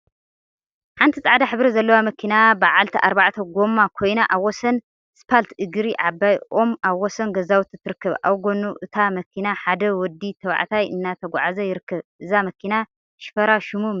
ሓንቲ ፃዕዳ ሕብሪ ዘለዋ መኪና በዓለቲ አርባዕተ ጎማ ኮይና አብ ወሰን ስፓልት እግሪ ዓባይ ኦም አብ ወሰን ገዛውቲ ትርከብ፡፡ አብ ጎኑ እታ መኪና ሓደ ወዲ ተባዕታይ እናተጓዓዘ ይርከብ፡፡ እዛ መኪና ሽፈራ ሽሙ መን ይበሃል?